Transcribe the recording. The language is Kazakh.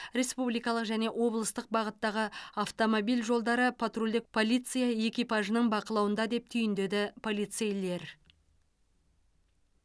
республикалық және облыстық бағыттағы автомобиль жолдары патрульдік полиция экипажының бақылауында деп түйіндеді полицейлер